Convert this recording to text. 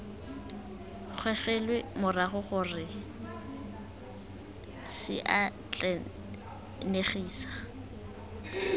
gogelwe morago gongwe c atlenegisa